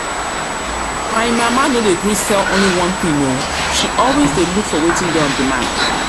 My mama no dey gree sell only one thing oo, she always dey look for wetin dey on demand